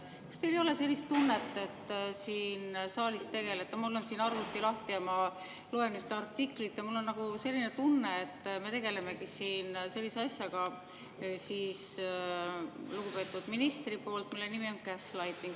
Kas teil ei ole sellist tunnet, et te siin saalis tegelete sellise asjaga – mul on arvuti lahti, ma loen artiklit ja mul on selline tunne, et me tegelemegi siin sellega lugupeetud ministri tegevuse kaudu –, mille nimi on gaslighting?